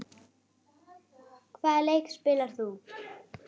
Hvaða leik spilar þú?